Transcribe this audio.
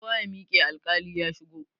Kowa ya miƙe, alkali ya shigo!